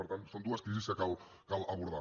per tant són dues crisis que cal abordar